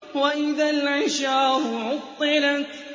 وَإِذَا الْعِشَارُ عُطِّلَتْ